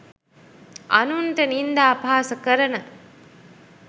අනුන්ට නින්දා අපහාස කරන